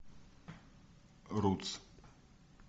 рутс